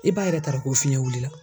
I b'a yɛrɛ t'a dɔ ko fiyɛn wulila.